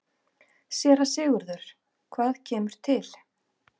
SÉRA SIGURÐUR: Hvað kemur til?